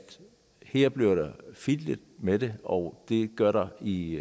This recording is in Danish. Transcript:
der bliver fiflet med det og det gør der i